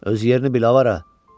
Öz yerini bil avarə!